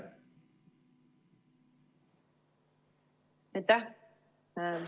Aitäh!